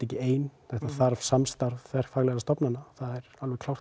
ekki ein það þarf samstarf þverfaglegra stofnana það er alveg